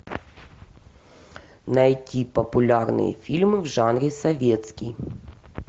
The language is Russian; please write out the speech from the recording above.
найти популярные фильмы в жанре советский